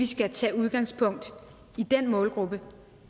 skal tage udgangspunkt i den målgruppe